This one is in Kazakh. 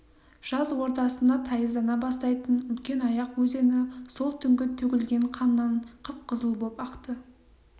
жаз ортасында тайыздана бастайтын үлкенаяқ өзені сол түнгі төгілген қаннан қып-қызыл боп ақты